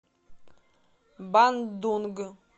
бандунг